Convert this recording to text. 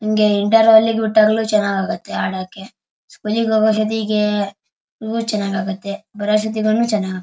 ಹಿಂಗೇ ಇಂಟೆರ್ವೆಲ್ ಗೆ ಬಿಟ್ಟಾಗಲು ಚೆನ್ನಾಗ್ ಆಗುತ್ತೆ ಆಡೋಕೆ ಮನಿಗ್ ಹೋಗೋ ಅಸ್ಟೋತಿಗೆ ತುಂಬಾ ಚೆನ್ನಾಗ್ ಆಗುತ್ತೆ ಬಾರೋ ಅಷ್ಟ್ ಹೊತ್ಗುನು ತುಂಬಾ ಚೆನ್ನಾಗ್ ಆಗುತ್ತೆ.